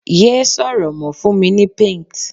ye sọrọ mo, fún mi ni paint